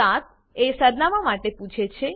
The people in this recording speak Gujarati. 7 એ સરનામાં માટે પૂછે છે